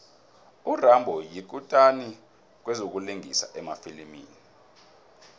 urambo yikutani kwezokulingisa emafilimini